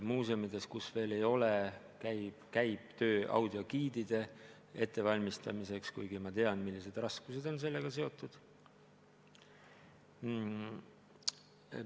Muuseumides, kus seda veel ei ole, käib töö audiogiidide ettevalmistamiseks, kuigi ma samas tean, millised raskused on sellega seotud.